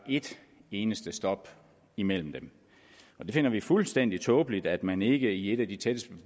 et eneste stop imellem dem vi finder det fuldstændig tåbeligt at man ikke i et af de tættest